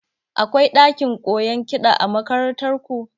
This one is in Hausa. Akwai ɗakin koyon kiɗa a makarantar ku?